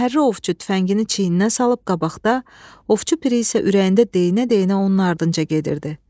Şəhərli ovçu tüfəngini çiynindən salıb qabaqda, Ovçu Piri isə ürəyində deyinə-deyinə onun ardınca gedirdi.